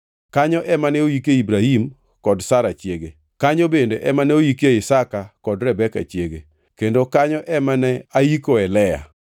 Kanyo ema ne oike Ibrahim kod Sara chiege, kanyo bende ema ne oikie Isaka kod Rebeka chiege, kendo kanyo ema ne aikoe Lea.